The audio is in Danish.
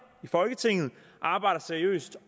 i folketinget arbejder seriøst